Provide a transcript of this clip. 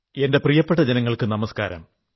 എന്റെ പ്രിയപ്പെട്ട ജനങ്ങൾക്കു നമസ്കാരം